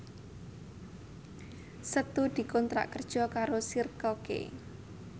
Setu dikontrak kerja karo Circle K